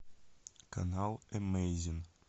канал эмейзин